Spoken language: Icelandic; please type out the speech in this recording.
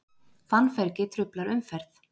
Fannfergi truflar umferð